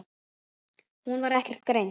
Hún var ekkert greind.